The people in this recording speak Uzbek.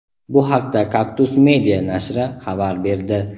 Bu haqda "Kaktus media" nashri xabar berdi.